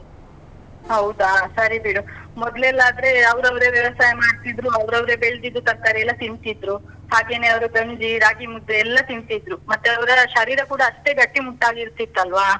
ಹೌದಾ ಸರಿ ಬಿಡು. ಮೊದ್ಲೆಲ್ಲ ಆದ್ರೆ, ಅವ್ರವ್ರೇ ವ್ಯವಸಾಯ ಮಾಡ್ತಿದ್ರು, ಅವ್ರವ್ರೇ ಬೆಳ್ದಿದ್ದು ತರ್ಕಾರಿ ಎಲ್ಲ ತಿಂತಿದ್ರು. ಹಾಗೇನೇ ಅವ್ರು ಗಂಜಿ, ರಾಗಿ ಮುದ್ದೆ ಎಲ್ಲ ತಿಂತಿದ್ರು. ಮತ್ತೆ ಅವ್ರ ಶರೀರ ಕೂಡ ಅಷ್ಟೇ ಗಟ್ಟಿಮುಟ್ಟಾಗಿ ಇರ್ತಿತ್ತು ಅಲ್ವಾ?